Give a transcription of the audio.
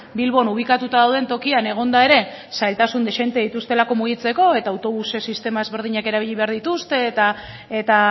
bilbon ubikatua dauden tokian egonda ere zailtasun dezente dituztelako mugitzeko eta autobus sistema ezberdinak erabili behar dituzte eta